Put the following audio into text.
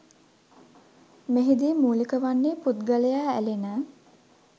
මෙහිදී මූලික වන්නේ පුද්ගලයා ඇලෙන